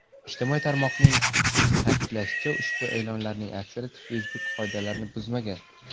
Ijtimoiy tarmoqning ta’kidlashicha, ushbu e’lonlarning aksariyati Facebook qoidalarini buzmagan.